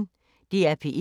DR P1